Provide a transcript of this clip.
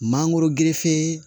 Mangoro gerefe